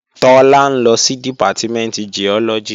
Tọ́lá ń lọ sí Dìpátímẹ̀ntì Giọ́lọ́gì